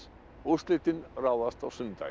úrslitin ráðast á sunnudaginn